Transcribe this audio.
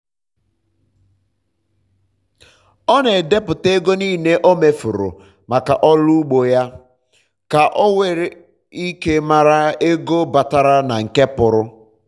ọ na edepụta ego n'ile o mefuru maka ọrụ ugbo ya um ka o nwere ike mara ego batara na nke pụrụ